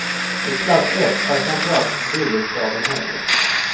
I klass ett är framför allt bullerkraven högre.